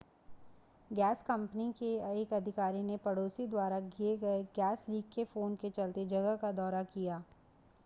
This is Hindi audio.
गैस कंपनी के एक अधिकारी ने पड़ोसी द्वारा किए गए गैस लीक के फ़ोन के चलते जगह का दौरा किया